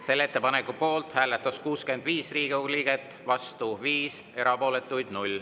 Selle ettepaneku poolt hääletas 65 Riigikogu liiget ja vastu 5, erapooletuid on 0.